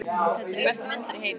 Þetta eru bestu vindlar í heimi.